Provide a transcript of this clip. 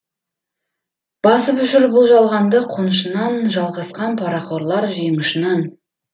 басып жүр бұл жалғанды қонышынан жалғасқан парақорлар жең ұшынан